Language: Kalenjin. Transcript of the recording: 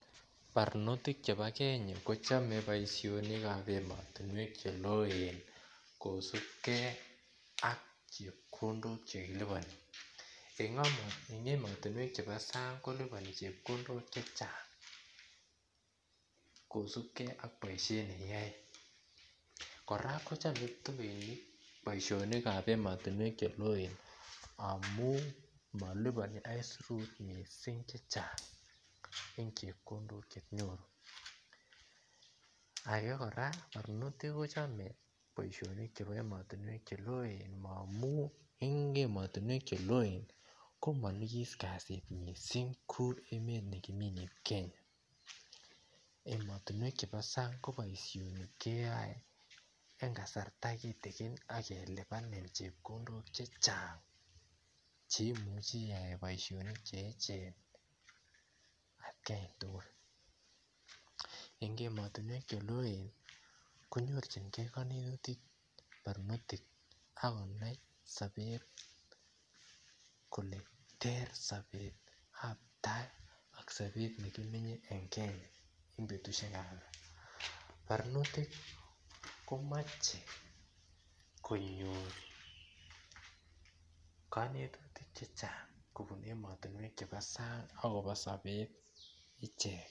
Barnotik chebo Kenya kochome boisionikab emotinwek cheloen kosubgei ak chepkondok chekiliponi en emotinwek chebo sang koliponi chepkondok chechang kosubgei ak boisiot nekiyoe kora kochangitu biik boisionikab emotinwek cheloen amun moliponi aisirut mising chechang en chepkondok chenyoru age kora barnotik kochome boisionik chebo emotinwek cheloen amun en emotinwek cheloen komonyikis kasit mising kou emet nekimi nebo Kenya emotinwek kab sang ko boisionik keyoe en kasarta kitikin ak kelipanin chepkondok chechang cheimuche iyai boisionik cheejen atkantugul en emotinwek cheloen konyorjingei kewekutik barnotik ak konai sobet kole ter sobetab tai aK sobet nekimenye en Kenya en betusikab barnotik komoche konyor konetutik chechang kobune emotinwek chebo sang akobo sobet ichek